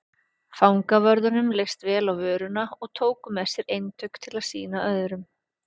Fangavörðunum leist vel á vöruna og tóku með sér eintök til að sýna öðrum.